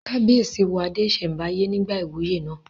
Kábíyèsí wọ adé ìsẹ̀mbáyé nígbà ìwúyè náà